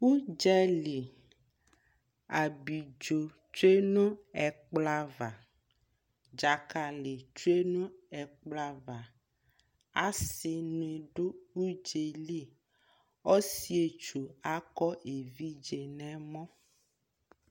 ʋdzali, abidzɔ twɛ nʋ ɛkplɔ aɣa, dzakali twɛ nʋ ɛkplɔ aɣa asii ni dʋ ʋdzali, ɔsii ɛtwʋ akɔ ɛvidzɛ nʋ ɛmɔ